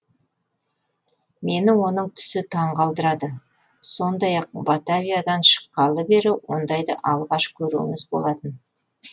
мені оның түсі таң қалдырады сондай ақ батавиядан шыққалы бері ондайды алғаш көруіміз болатын